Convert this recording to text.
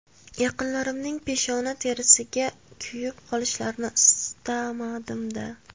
Yaqinlarimning peshona terisiga kuyib qolishlarini istamadim-da!